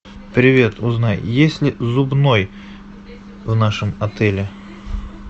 привет узнай есть ли зубной в нашем отеле